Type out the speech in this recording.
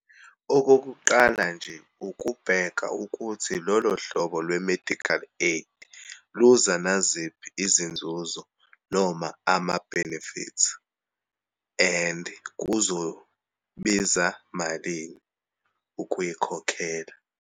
Okokuqala nje, ukubheka ukuthi lolo hlobo lwe-medical aid luza naziphi izinzuzo noma ama-benefits and kuzobiza malini ukuyikhokhela.